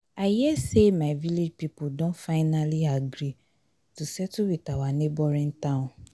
i hear say my village people don finally agree to settle with our neighboring town